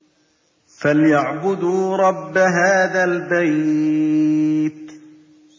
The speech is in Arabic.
فَلْيَعْبُدُوا رَبَّ هَٰذَا الْبَيْتِ